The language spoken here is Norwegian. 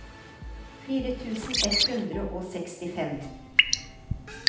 fire tusen ett hundre og sekstifem